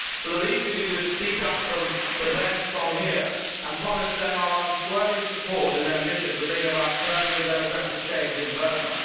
So the least we can do is speak up for them from here and promise them our unswerving support in their mission to bring about permanent democratic change in Burma.